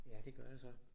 Ja det gør jeg så